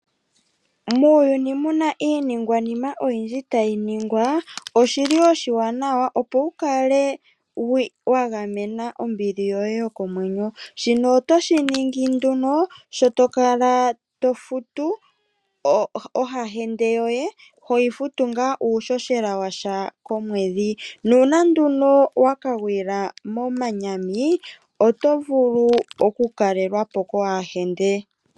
Muuyuni muna iiningwanima oyindji tayi ningwa oshili oshiwanawa opo wukale wa gamena ombili yoye yokomwenyo ,shino oto shiningi nduno sho tokala tofutu ohahende yoye toyi futu ngaa iishoshela yasha komwedhi nuuna nduno Waka gwila moshiponga otovulu oku kalelwapo ko hahende.